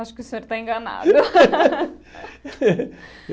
Acho que o senhor está enganado.